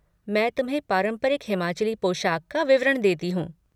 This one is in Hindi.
मैं तुम्हें पारंपरिक हिमाचली पोशाक का विवरण देती हूँ।